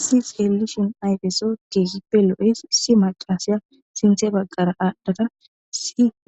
Issoy xeelishin ayfesi keehippe lo7ees. Issi maccasiya sinththe bagar aadhada